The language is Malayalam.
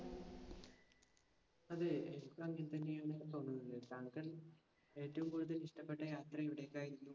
അതെ. എനിക്കും അങ്ങിനെത്തന്നെയാണ് തോന്നുന്നത്. താങ്കൾ ഏറ്റവും കൂടുതൽ ഇഷ്ടപ്പെട്ട യാത്ര എവിടെക്കായിരുന്നു?